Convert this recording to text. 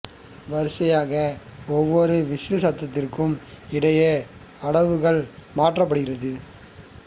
வரிசையாக ஒவ்வொரு விசில் சத்தத்திற்கும் இடையே அடவு கள் மாற்றப்படுகிறது